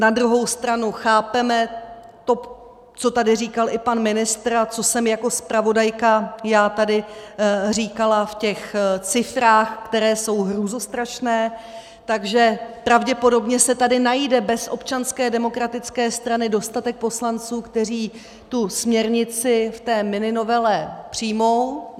Na druhou stranu chápeme to, co tady říkal i pan ministr a co jsem jako zpravodajka já tady říkala v těch cifrách, které jsou hrůzostrašné, takže pravděpodobně se tady najde bez Občanské demokratické strany dostatek poslanců, kteří tu směrnici v té mininovele přijmou.